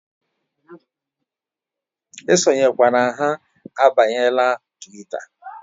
E sonyekwa ha abanyela Twita!